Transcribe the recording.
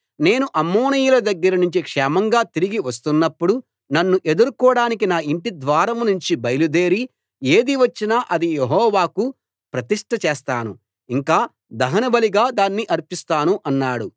నేను అమ్మోనీయుల దగ్గర నుంచి క్షేమంగా తిరిగి వస్తున్నప్పుడు నన్ను ఎదుర్కోడానికి నా ఇంటి ద్వారం నుంచి బయలుదేరి ఏది వచ్చినా అది యెహోవాకు ప్రతిష్ట చేస్తాను ఇంకా దహన బలిగా దాన్ని అర్పిస్తాను అన్నాడు